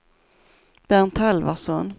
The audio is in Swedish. Bernt Halvarsson